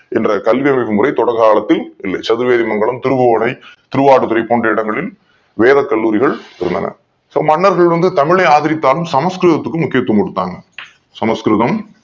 என்ற கல்வி வழிமுறை தொடக்க காலத்தில் இல்லை சதுவேரிமங்கலம் திருபுவனை திருவாடுதுறை போன்ற இடங்களில் வேத கல்லூரிகள் இருந்தன மன்னர்கள் வந்து தமிழை ஆதரித்தாலும் சமஸ்கிருதத்துக்கு வந்து முக்கியத்துவம் கொடுத்தாங்க சமஸ்கிருதம்